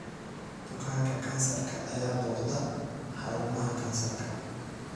Bukaanka kansarka ayaa booqda xarumaha kansarka.